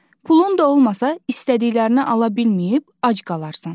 Pulun da olmasa istədiklərini ala bilməyib ac qalarsan.